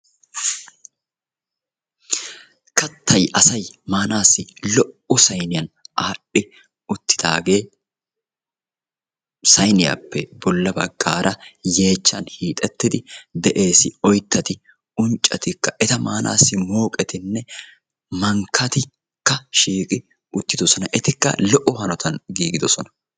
Katay asay maanaassi lo"o sayniyan adhi uttiddaagee; sayniyappe bolla baggaara yeechchan hixxettidi de"ees. Oyttatti , unccattikka, eta maanaassi moqqettinne mankkattikka shiiqqi uttiddossona, etikka lo"o hanotan giiggiddosona.